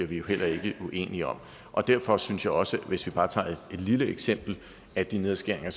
vi heller ikke bliver uenige om derfor synes jeg også hvis vi bare tager et lille eksempel at de nedskæringer